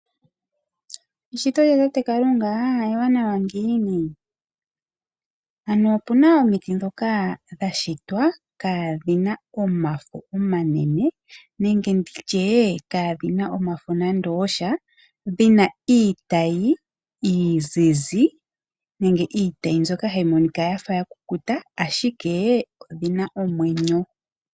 Eshito lya tate Kalunga ewanawa ngiini. Opu na omiti ndhoka dha shitwa kaadhina omafo omanene nenge kadhina iitayi nande osha ano dhina iitayi iizizi yafa ya kukuta ashike odhina omwenyo.